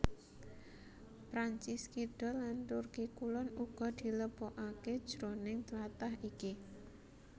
Prancis Kidul lan Turki Kulon uga dilebokaké jroning tlatah iki